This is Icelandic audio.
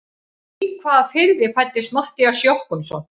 Í hvaða firði fæddist Matthías Jochumsson?